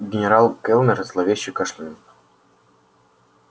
генерал кэллнер зловеще кашлянул